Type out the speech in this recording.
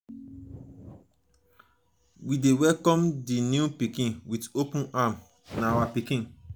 we dey welcome di new pikin wit open arms na our pikin.